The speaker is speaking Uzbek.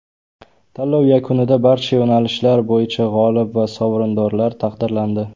Tanlov yakunida barcha yo‘nalishlar bo‘yicha g‘olib va sovrindorlar taqdirlandi.